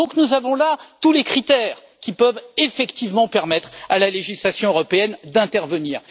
Nous avons là tous les critères qui peuvent effectivement permettre au législateur européen d'intervenir.